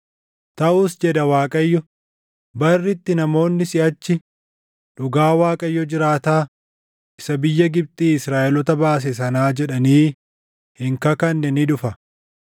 “Taʼus” jedha Waaqayyo, “barri itti namoonni siʼachi, ‘Dhugaa Waaqayyo jiraataa, isa biyya Gibxii Israaʼeloota baase sanaa’ jedhanii hin kakanne ni dhufa,